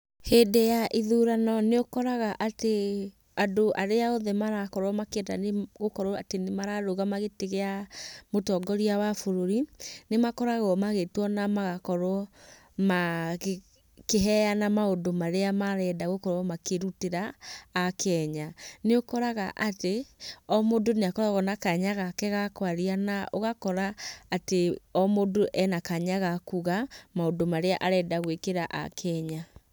Hĩndĩ ya ithurano nĩũkoraga atĩ andũ arĩa othe marakorwo makĩenda gũkorwo atĩ nĩmararũgama gĩtĩ gĩa mũtongoria wa bũrũri, nĩmakoragwo magĩtwo na magakorwo makĩheyana maũndũ marĩa marenda gũkorwo makĩrutĩra Akenya. Nĩũkoraga atĩ o mũndũ nĩakoragwo na kanya gake ga kwaria na ũgakora atĩ o mũndũ ena kanya ga kuga maũndũ marĩa arenda gwĩkĩra Akenya.